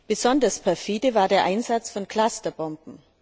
Besonders perfide war der Einsatz von Clusterbomben.